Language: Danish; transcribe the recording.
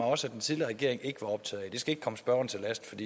også at den tidligere regering ikke var optaget af det skal ikke komme spørgeren til last